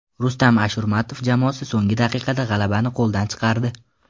Rustam Ashurmatov jamoasi so‘nggi daqiqada g‘alabani qo‘ldan chiqardi.